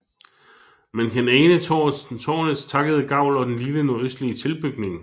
Man kan ane tårnets takkede gavl og den lille nordøstlige tilbygning